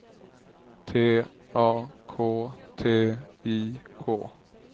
T A K T I K